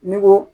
N'u ko